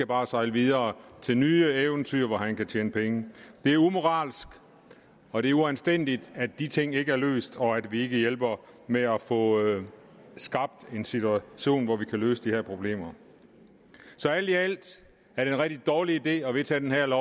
bare sejle videre til nye eventyr hvor han kan tjene penge det er umoralsk og det er uanstændigt at de ting ikke er løst og at vi ikke hjælper med at få skabt en situation hvor vi kan løse de her problemer så alt i alt er det en rigtig dårlig idé at vedtage det her